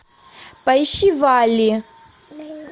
поищи валли